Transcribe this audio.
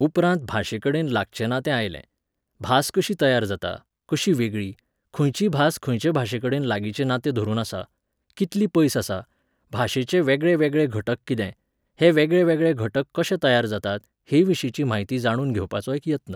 उपरांत भाशेकडेन लागचें ना तें आयलें. भास कशी तयार जाता, कशी वेगळी, खंयची भास खंयचे भाशेकडेन लागींचे नातें धरून आसा, कितली पयस आसा, भाशेचे वेगळेवेगळे घटक कितें, हे वेगळेवेगळे घटक कशे तयार जातात हेंविशींची म्हायती जाणून घेवपाचो एक यत्न.